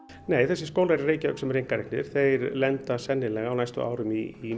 nei þessar skólar í Reykjavík sem eru einkareknir þeir lenda sennilega á næstu árum í